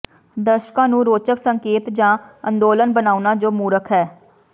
ਦਰਸ਼ਕਾਂ ਨੂੰ ਰੋਚਕ ਸੰਕੇਤ ਜਾਂ ਅੰਦੋਲਨ ਬਣਾਉਣਾ ਜੋ ਮੂਰਖ ਹੈ